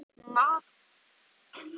María svaf.